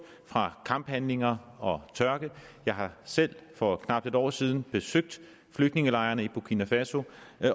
fra kamphandlinger og tørke jeg har selv for knap et år siden besøgt flygtningelejrene i burkina faso